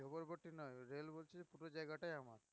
নয় রেল বলছে পুরো জায়গাটাই আমাদের